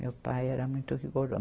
Meu pai era muito rigoro